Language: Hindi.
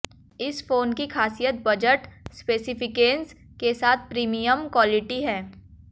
इस फोन की खासियत बजट स्पेसिफिकेशन्स के साथ प्रीमियम क्वालिटी है